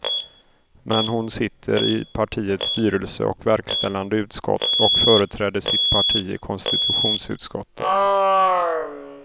Men hon sitter i partiets styrelse och verkställande utskott och företräder sitt parti i konstitutionsutskottet.